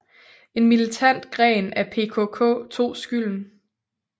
En militant gren af PKK tog skylden